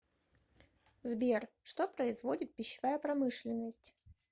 сбер что производит пищевая промышленность